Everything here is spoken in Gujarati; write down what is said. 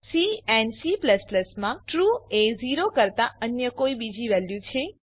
સી એન્ડ C માં ટ્રૂ એ 0 કરતાં અન્ય કોઈ બીજી વેલ્યુ છે